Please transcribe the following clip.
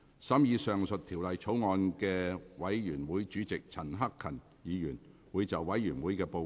審議上述條例草案的委員會主席陳克勤議員會就委員會的報告，向本會發言。